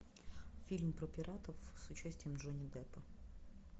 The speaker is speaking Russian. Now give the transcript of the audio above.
фильм про пиратов с участием джонни деппа